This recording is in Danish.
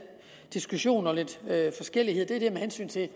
diskussion og lidt forskellighed er med hensyn til